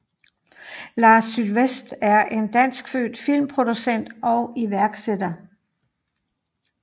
Lars Sylvest er er danskfødt filmproducent og iværksætter